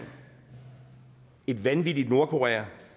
et vanvittigt nordkorea